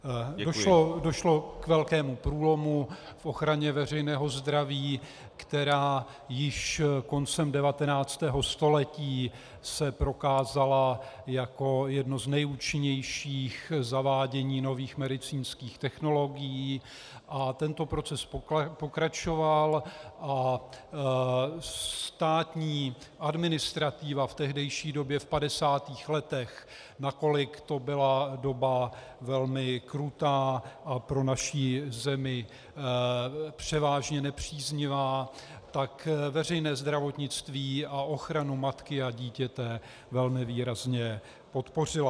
Došlo k velkému průlomu v ochraně veřejného zdraví, která již koncem 19. století se prokázala jako jedno z nejúčinnějších zavádění nových medicínských technologií, a tento proces pokračoval a státní administrativa v tehdejší době, v 50. letech, nakolik to byla doba velmi krutá a pro naši zemi převážně nepříznivá, tak veřejné zdravotnictví a ochranu matky a dítěte velmi výrazně podpořila.